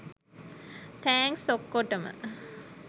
thanks ඔක්කොටම